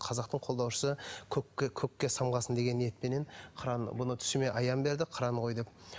қазақтың қолдаушысы көкке көкке самғасын деген ниетпенен қыран бұны түсіме аян берді қыран қой деп